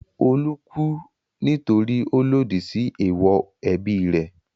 Olú kú nítorí ó lòdì sí èèwọ̀ ẹbí rẹ̀.